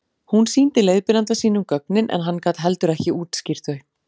hún sýndi leiðbeinanda sínum gögnin en hann gat heldur ekki útskýrt þau